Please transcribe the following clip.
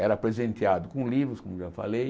Era presenteado com livros, como eu falei.